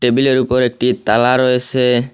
টেবিলের উপর একটি তালা রয়েসে।